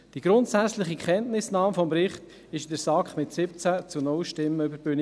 Die grundsätzliche Kenntnisnahme des Berichts ging in der SAK mit 17 zu 0 Stimmen über die Bühne.